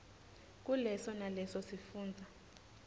kuleso naleso sifundza